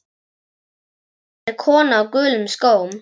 Sólin er kona á gulum skóm.